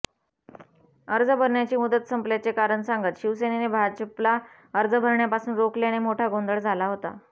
अर्ज भरण्याची मुदत संपल्याचे कारण सांगत शिवसेनेने भाजपला अर्ज भरण्यापासून रोखल्याने मोठा गोंधळ झाला होता